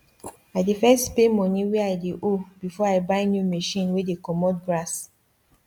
i dey first pay money wey i dey ow before i buy new machine wey dey comot grass